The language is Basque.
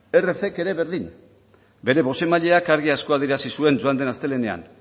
erck ere berdin bere bozeramaileak argi asko adierazi zuen joan del astelehenean